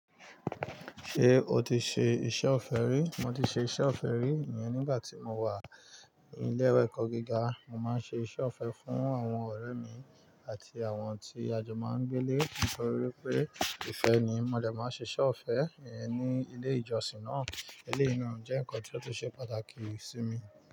Ṣé o ti ṣe iṣẹ́ ọ̀fẹ́ rí? Mo ti ṣe iṣẹ́ ọ̀fẹ́ rí, eyen nígbà tí mo wà ní ilé ìwé ẹ̀kọ́ gíga, mo máa ń ṣe iṣẹ́ ọ̀fẹ́ fún àwọn ọ̀rẹ́ mi àti àwọn tí a jọ máa ń gbé ilé, nítorí pé ìfẹ́ ni. Mó dẹ́ máa ṣe iṣẹ́ ọ̀fẹ́ eyẹn ní ilé ìjọsìn náà. Eleyii na jẹ́ ǹkan tí ó ṣe pàtàkì sí mi.